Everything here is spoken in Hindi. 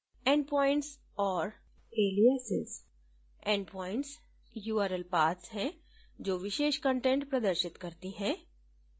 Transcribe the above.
endpoints और aliasesendpoints url paths हैं जो विशेष कंटेंट प्रदर्शित करती हैं